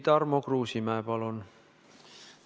Tarmo Kruusimäe, palun!